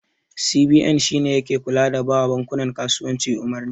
CBN shine yake kula da bawa bankunan kasuwanci umarni.